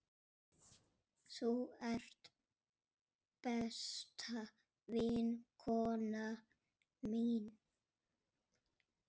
Þú ert besta vinkona mín.